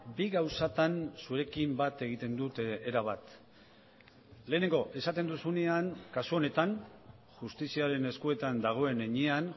bi gauzatan zuekin bat egiten dut erabat lehenengo esaten duzunean kasu honetan justiziaren eskuetan dagoen heinean